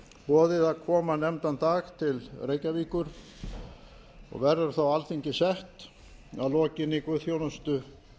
boðið að koma nefndan dag til reykjavíkur og verður þá alþingi sett að lokinni guðsþjónustu